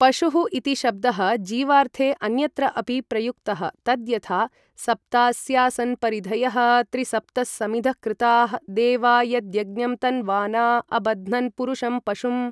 पशुः इति शब्दः जीवार्थे अन्यत्र अपि प्रयुक्तः तद् यथा सप्तास्यासन् परिधयः त्री सप्तः समिधः कृताः देवा यद्यज्ञं तन्वाना अबध्नन् पुरुषं पशुम् ।